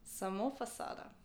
Samo fasada.